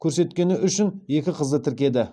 көрсеткені үшін екі қызды тіркеді